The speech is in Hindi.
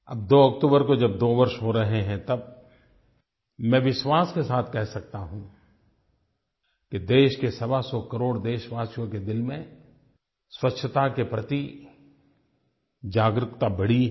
अब 2 अक्टूबर को जब दो वर्ष हो रहे हैं तब मैं विश्वास के साथ कह सकता हूँ कि देश के सवासौ करोड़ देशवासियों के दिल में स्वच्छ्ता के प्रति जागरूकता बढ़ी है